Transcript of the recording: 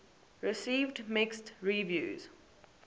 received mixed reviews